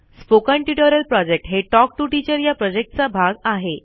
spoken tutorial project हे talk to teacher या प्रॉजेक्टचा भाग आहे